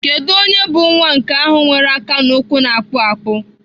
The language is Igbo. Kedu onye bụ nwa nke ahụ nwere aka na ụkwụ na-akpụ akpụ?